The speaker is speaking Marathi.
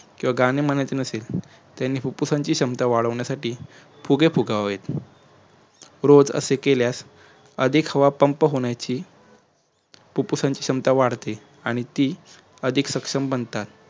किंवा गाणे म्हणायचे नसेल त्यानी फुप्फुसाची क्षमता वाढवण्यासाठी फुगे फुगवायत रोज असे केल्यास अधिक हवा pump होण्याची फुप्फुसाची क्षमता वाढते आणि ती अधिक शक्षम बनतात